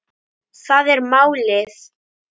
Það er málið.